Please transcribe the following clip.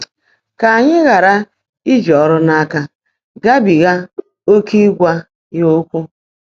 Kà ányị́ ghàrà íjí ọ́rụ́ n’áká gábíghá óké ị́gwá yá ókwụ́.